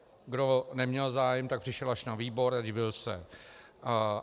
Kdo neměl zájem, tak přišel až na výbor a divil se.